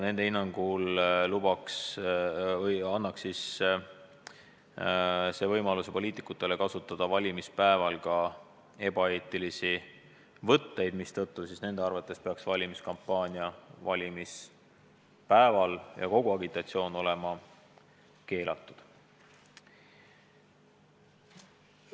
Nende hinnangul annaks see poliitikutele võimaluse kasutada valimispäeval ka ebaeetilisi võtteid, mistõttu peakski nende arvates valimiskampaania ja kogu agitatsioon olema valimispäeval keelatud.